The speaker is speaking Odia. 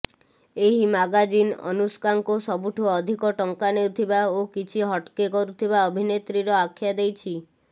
ଏହି ମାଗାଜିନ୍ ଅନୁଷ୍କାଙ୍କୁ ସବୁଠୁ ଅଧିକ ଟଙ୍କା ନେଉଥିବା ଓ କିଛି ହଟ୍କେ କରୁଥିବା ଅଭିନେତ୍ରୀର ଆଖ୍ୟା ଦେଇଛି